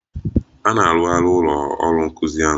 A na-arụzigharị ụlọ ọrụ nkuzi ahụ.